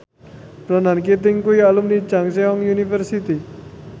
Ronan Keating kuwi alumni Chungceong University